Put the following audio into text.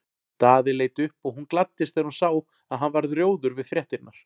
Daði leit upp og hún gladdist þegar hún sá að hann varð rjóður við fréttirnar.